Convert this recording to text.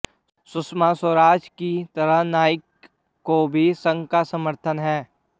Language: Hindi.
सुषमा स्वराज की तरह नाइक काे भी संघ का समर्थन है